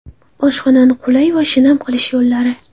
Oshxonani qulay va shinam qilish yo‘llari.